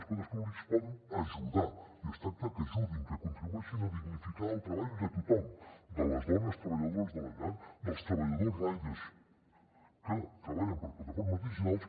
els poders públics poden ajudar i es tracta que ajudin que contribueixin a dignificar el treball de tothom de les dones treballadores de la llar dels treballadors riders que treballen per a plataformes digitals